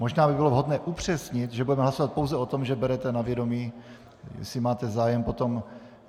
Možná by bylo vhodné upřesnit, že budeme hlasovat pouze o tom, že berete na vědomí - jestli máte zájem potom.